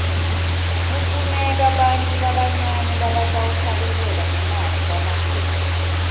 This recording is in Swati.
kufuneka bantfu labancane labatawuhlabela ngemavi lamakhulu